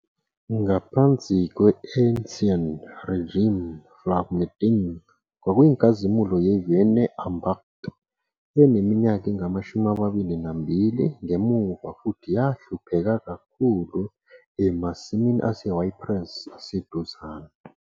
Ngaphansi kwe-Ancien Régime Vlamertinge kwakuyinkazimulo yeVeurne-Ambacht eneminyaka engama-22 ngemuva futhi yahlupheka kakhulu emasimini aseYpres aseduzane.